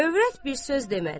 Övrət bir söz demədi.